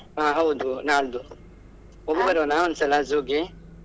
ಆಹ್ ಹೌದು ನಾಲ್ದು ಹೋಗಿ ಬರೋಣ ಒಂದ್ ಸಲ zoo ಗೆ.